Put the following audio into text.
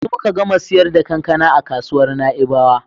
Yanzu muka gama siyar da kankana a kasuwar Na'ibawa.